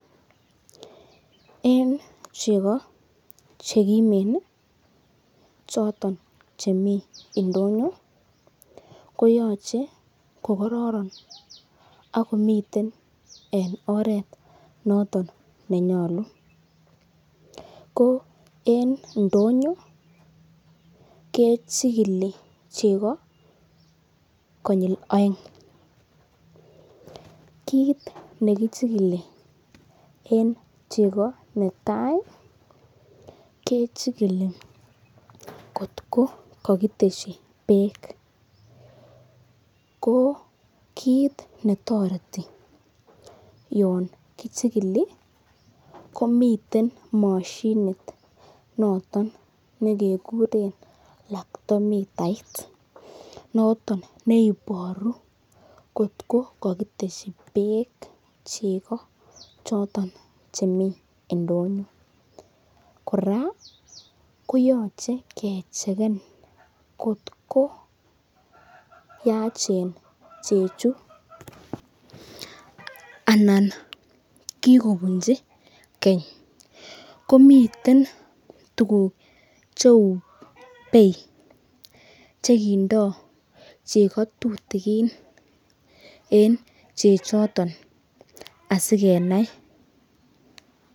En chego chekimen choto chemi ndonyo koyoche kokororon ago iten oret noton nenyolu ko en ndonyo kechigili chego koyil oeng. Kit ne kichikili en chego netai kechikili kotko kogitesyi beek, ko kiit netoreti yon kichikili komiten moshinit noton ne keguren lactometre it neiboru kotko kogitesyi beek chego choton chemi ndonyo. Kora koyoche kechikil kotko yachen chechu anan kigobunji keny. Komiten tuguk cheu bei che kindo chego tutikin en chechoto asikenai.